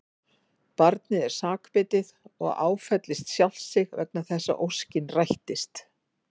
Barnið er sakbitið og áfellist sjálft sig vegna þess að óskin rættist.